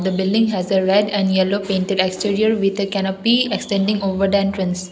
a building has a red and yellow painted exterior with extended over the entrance.